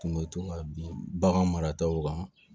Tun bɛ to ka bin baganw marataw kan